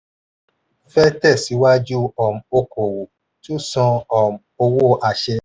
fẹ́ tẹ̀síwájú um okòwò tun san um owó àṣẹ.